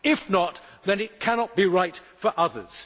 If not, then it cannot be right for others.